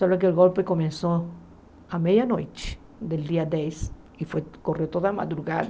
Só que o golpe começou à meia-noite do dia dez e foi correu toda a madrugada.